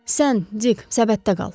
Sən Dik, səbətdə qal.